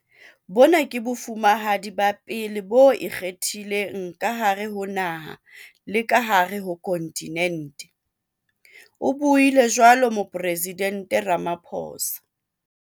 "Bona ke Bofumahadi ba pele bo ikgethileng ka hare ho naha le ka hare ho khonthinente," o buile jwalo Moporesidente Ramaphosa.